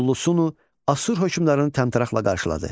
Ullusunu Assur hökmdarını təmtəraqlı qarşıladı.